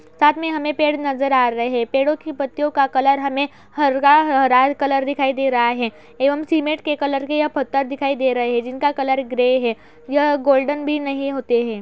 साथ में हमें पेड़ नजर आ रहे पेड़ों की पत्तियों का कलर हमें हरगा- हाराल कलर दिखाई दे रहा है एवं सीमेंट के कलर के यह पत्थर दिखाई दे रहे है जिनका कलर ग्रे है। यह गोल्डन भी नहीं होते हैं।